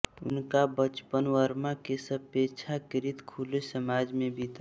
उनका बचपन बर्मा के अपेक्षाकृत खुले समाज में बीता